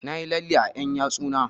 Na yi lalle a ƴan yatsu na